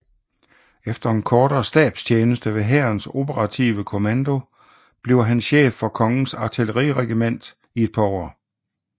Efter en kortere stabstjeneste ved Hærens Operative Kommando bliver han chef for Kongens Artilleriregiment i et par år